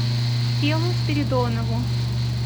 фелу спиридонову